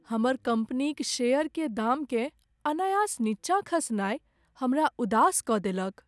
हमर कम्पनीक शेयर के दाम केँ अनायास नीचा खसनाय हमरा उदास कऽ देलक।